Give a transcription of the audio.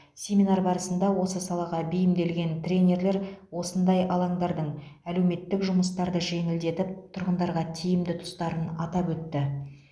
семинар барысында осы салаға бейімделген тренерлер осындай алаңдардың әлеуметтік жұмыстарды жеңілдетіп тұрғындарға тиімді тұстарын атап өтті